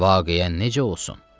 Vaqiə necə olsun?